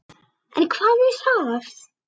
En hvað um það!